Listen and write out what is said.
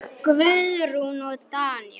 Guðrún og Daníel.